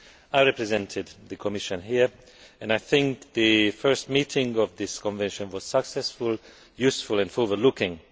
I represented the Commission there, and I think the first meeting of this Convention was successful, useful and forward looking.